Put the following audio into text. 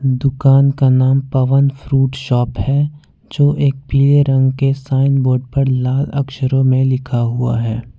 दुकान का नाम पवन फ्रूट शॉप है जो एक पीले रंग के साइन बोर्ड पर लाल अक्षरों में लिखा हुआ है।